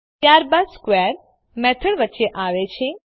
ત્યારબાદ square method વચ્ચે આવે છે